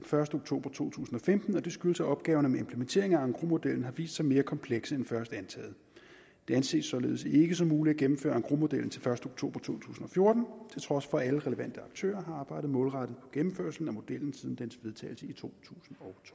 første oktober to tusind og femten og det skyldes at opgaverne med implementering af engrosmodellen har vist sig mere komplekse end først antaget det anses således ikke som muligt at gennemføre engrosmodellen til første oktober to tusind og fjorten til trods for at alle relevante aktører har arbejdet målrettet på gennemførelse af modellen siden dens vedtagelse i to tusind